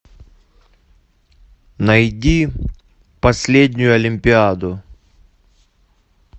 найди последнюю олимпиаду